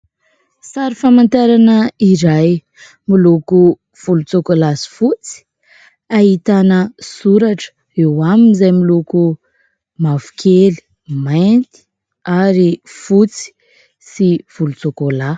Sary famantarana iray miloko volontsokolahy sy fotsy. Ahitana soratra eo aminy izay miloko mavokely, mainty ary fotsy sy volotsokolahy.